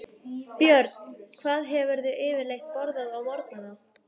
Björn: Hvað hefurðu yfirleitt borðað á morgnanna?